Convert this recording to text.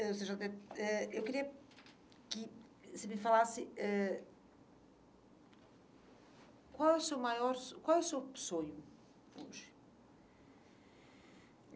Eh...Eu queria que você me falasse ãh qual é o seu maior son, qual é o seu sonho hoje?